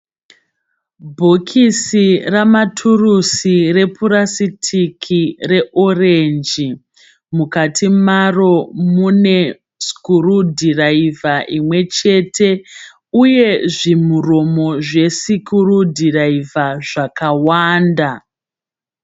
Bhokisi ramaturusi repurasitiki reorenji. Mukati maro mune sikurudhiraivha imwe chete uye zvimuromo zvesikurudiraivha zvakawanda.